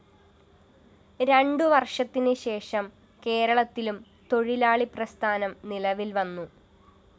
രണ്ടു വര്‍ഷത്തിനുശേഷം കേരളത്തിലും തൊഴിലാളിപ്രസ്ഥാനം നിലവില്‍വന്നു